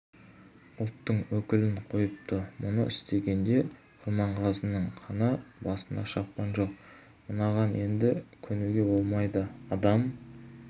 ұлттың өкілін қойыпты мұны естігенде құрманғазының қаны басына шапты жоқ мынаған енді көнуге болмайды адам